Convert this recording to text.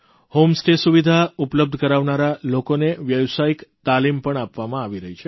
homestay સુવિધા ઉપલબ્ધ કરાવનારા લોકોને વ્યાવસાયિક તાલીમ પણ આપવામાં આવી રહી છે